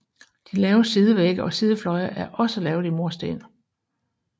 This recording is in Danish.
De lave sidevægge og sidefløje er også lavet i mursten